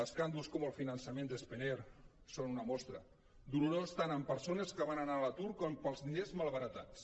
escàndols com el finançament de spanair en són una mostra dolorós tant per persones que van anar a l’atur com pels diners malbaratats